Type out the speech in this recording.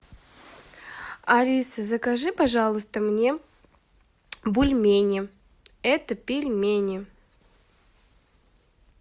алиса закажи пожалуйста мне бульмени это пельмени